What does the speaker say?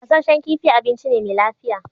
Gassashen kifi abinci ne me lafiya